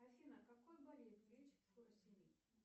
афина какую болезнь лечит фурасемид